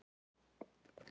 Svo var þetta bara jarðað.